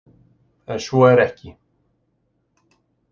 En svo er ekki.